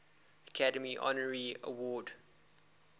academy honorary award